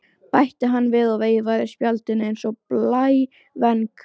bætti hann við og veifaði spjaldinu eins og blævæng.